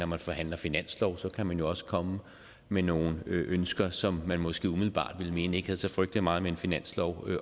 man forhandler finanslov kan man jo også komme med nogle ønsker som man måske umiddelbart ville mene ikke havde så frygtelig meget med en finanslov